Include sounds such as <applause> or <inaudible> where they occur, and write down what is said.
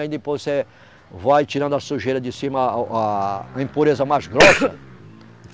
Aí depois você vai tirando a sujeira de cima, a, o, a, a impureza mais grossa. <coughs>